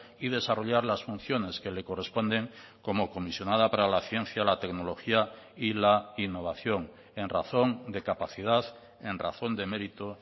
y desarrollar las funciones que le corresponden como comisionada para la ciencia la tecnología y la innovación en razón de capacidad en razón de mérito